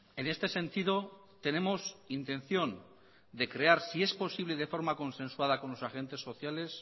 en este sentido tenemos intención de crear si es posible de forma consensuada con los agentes sociales